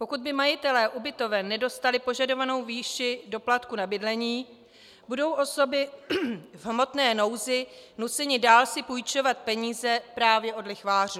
Pokud by majitelé ubytoven nedostali požadovanou výši doplatku na bydlení, budou osoby v hmotné nouzi nuceny dál si půjčovat peníze právě od lichvářů.